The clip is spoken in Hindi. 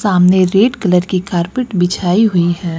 सामने रेड कलर की कारपेट बिछाई हुई है।